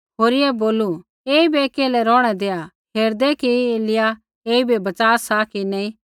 होरियै बोलू ऐईबै केल्है रौहणै देआ हेरदै कि एलिय्याह ऐईबै बच़ा सा कि नी